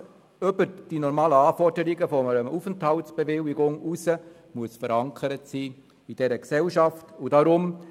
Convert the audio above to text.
Dass jemand über die normalen Anforderungen hinaus verankert sein muss, ist für die Kommissionsmehrheit deshalb klar.